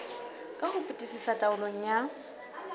ka ho fetisisa taolong ya